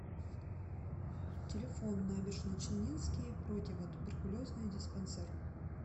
телефон набережночелнинский противотуберкулезный диспансер